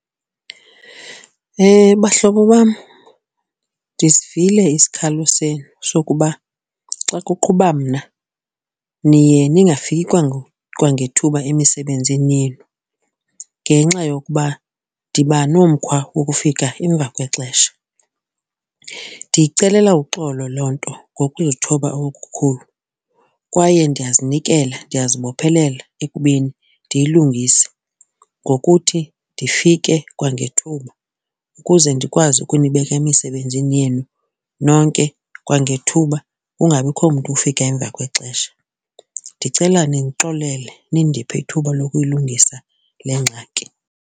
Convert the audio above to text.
Bahlobo bam, ndisivile isikhalo senu sokuba xa kuqhuba mna niye ningafiki kwangethuba emisebenzini yenu ngenxa yokuba ndiba nomkhwa wokufika emva kwexesha. Ndiyicelela uxolo loo nto ngokuzithoba okukhulu kwaye ndiyazinikela, ndiyazibophelela ekubeni ndiyilungise ngokuthi ndifike kwangethuba ukuze ndikwazi ukunibeka emisebenzini yenu nonke kwangethuba kungabikho mntu ufika emva kwexesha. Ndicela nindixolele, nindiphe ithuba lokuyilungisa le ngxaki.